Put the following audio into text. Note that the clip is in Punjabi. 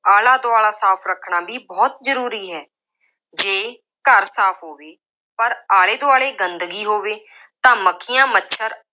ਆਲਾ-ਦੁਆਲਾ ਸਾਫ ਰੱਖਣਾ ਵੀ ਬਹੁਤ ਜ਼ਰੂਰੀ ਹੈ। ਜੇ ਘਰ ਸਾਫ ਹੋਵੇ ਪਰ ਆਲੇ ਦੁਆਲੇ ਗੰਦਗੀ ਹੋਵੇ ਤਾਂ ਮੱਖੀਆਂ, ਮੱਛਰ